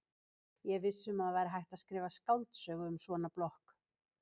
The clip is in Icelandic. Ég er viss um að það væri hægt að skrifa skáldsögu um svona blokk.